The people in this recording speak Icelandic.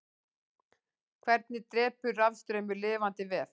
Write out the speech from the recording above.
hvernig drepur rafstraumur lifandi vef